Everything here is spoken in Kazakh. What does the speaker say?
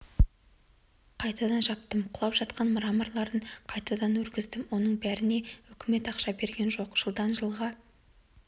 қайтадан жаптым құлап жатқан мраморларын қайтадан өргіздім оның бәріне үкімет ақша берген жоқ жылдан жылға